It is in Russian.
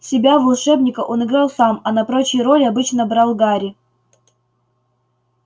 себя волшебника он играл сам а на прочие роли обычно брал гарри